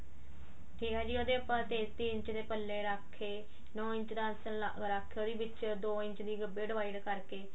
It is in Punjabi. ਠੀਕ ਆ ਜੀ ਉਹਦੇ ਆਪਾਂ ਤੇਤੀ ਇੰਚ ਦੇ ਪੱਲੇ ਰੱਖ ਕੇ ਨੋ ਇੰਚ ਦਾ ਆਸਣ ਰੱਖ ਕੇ ਉਹਦੀ ਵਿੱਚ ਦੋ ਇੰਚ ਦੀ ਗੱਭੇ divide ਕਰਕੇ